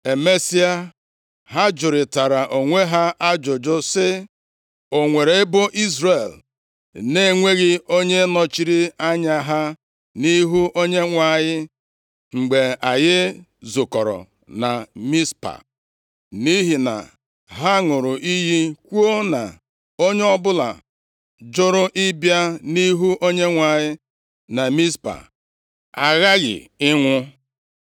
Emesịa, ha jụrịtara onwe ha ajụjụ sị, “O nwere ebo Izrel na-enweghị onye nọchiri anya ha nʼihu Onyenwe anyị anyị mgbe anyị zukọrọ na Mizpa?” Nʼihi na ha ṅụrụ iyi kwuo na onye ọbụla jụrụ ịbịa nʼihu Onyenwe anyị na Mizpa aghaghị ịnwụ.